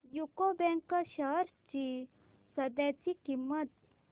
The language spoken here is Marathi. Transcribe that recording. यूको बँक शेअर्स ची सध्याची किंमत